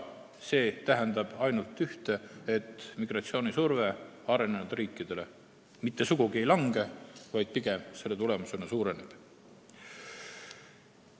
See tähendab ainult ühte: selle tulemusena migratsioonisurve arenenud riikidele sugugi ei lange, vaid pigem suureneb.